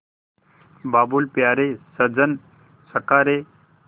बाबुल प्यारे सजन सखा रे